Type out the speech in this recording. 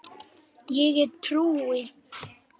Ég trúi.